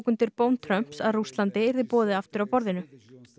undir bón Trumps um að Rússlandi yrði boðið aftur að borðinu